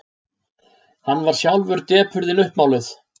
Hann varð sjálf depurðin uppmáluð.